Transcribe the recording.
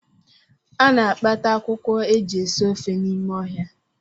A na-akpata akwụkwọ e ji esi ofe n’ime ọhịa